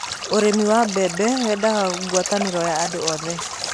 ũrĩmi wa mbembe wendaga gwataniro ya andũ othe